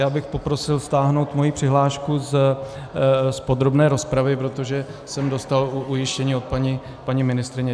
Já bych poprosil stáhnout svoji přihlášku z podrobné rozpravy, protože jsem dostal ujištění od paní ministryně.